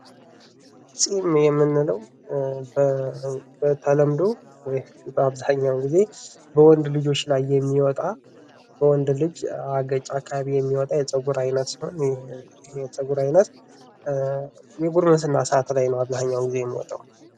ጺም የምንለው በተለምዶ ወይም በአብዛኛውን ጊዜ በወንድ ልጆች ላይ የሚወጣ በወንድ ልጅ አገጭ አካባቢ የሚወጣ የጽጉር አይነት ሲሆን፤ ይህ የጸጉር አይነት የጉርምስና ሰአት ላይ ነው አብዛኛውን ጊዜ የሚወጣው።